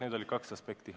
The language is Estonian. Need olid kaks aspekti.